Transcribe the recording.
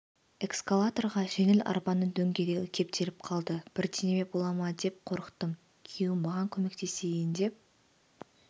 эскалаторға жеңіл арбаның дөңгелегі кептеліп қалды бірдеңе бола ма деп қорықтым күйеуім маған көмектесейін деп